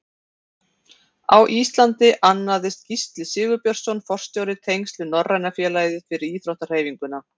Á Íslandi annaðist Gísli Sigurbjörnsson forstjóri tengsl við Norræna félagið fyrir íþróttahreyfinguna.